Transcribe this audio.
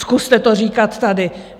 Zkuste to říkat tady.